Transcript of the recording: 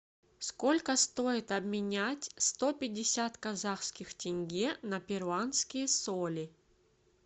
сколько стоит обменять сто пятьдесят казахских тенге на перуанские соли